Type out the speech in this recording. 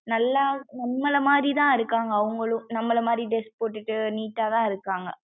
நல்லா நம்மல மாறி தான் இருக்காங்க அவுங்களும் நம்மல மாறி dress போட்டுட்டு neat தான் இருக்காங்க